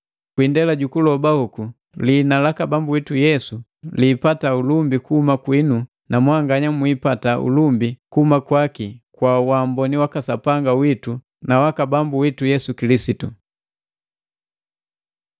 Kwi indela ju kuloba hoku, lihina laka Bambu witu Yesu liipataa ulumbi kuhuma kwiinu na mwanganya mwiipata ulumbi kuhuma kwaki kwa waamboni waka Sapanga witu na jaka Bambu witu Yesu Kilisitu.